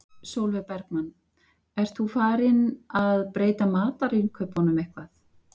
Sólveig Bergmann: Ert þú farinn að breyta matarinnkaupunum eitthvað?